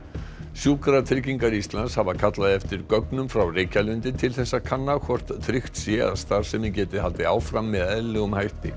sjúkratryggingar Íslands hafa kallað eftir gögnum frá Reykjalundi til þess að kanna hvort tryggt sé að starfsemin geti haldið áfram með eðlilegum hætti